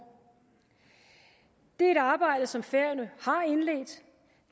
det er et arbejde som færøerne